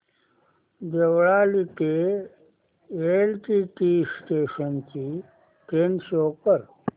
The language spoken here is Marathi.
देवळाली ते एलटीटी स्टेशन ची ट्रेन शो कर